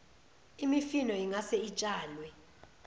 imifino ingase itshalwe